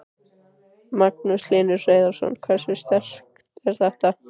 Magnús Hlynur Hreiðarsson: Hversu sterkt er þetta?